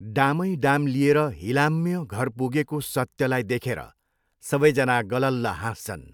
डामैडाम लिएर हिलाम्य घर पुगेको सत्यलाई देखेर सबैजना गलल्ल हाँस्छन्।